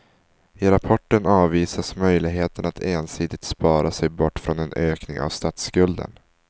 I rapporten avvisas möjligheten att ensidigt spara sig bort från en ökning av statsskulden.